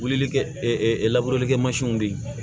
Wulili kɛ kɛmansiw de ye